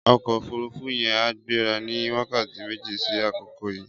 Ọkọ ófùrùfù yèn á gbérà ni wàkátí méjé si àkókó yi